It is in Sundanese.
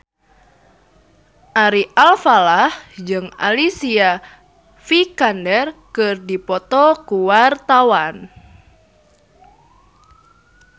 Ari Alfalah jeung Alicia Vikander keur dipoto ku wartawan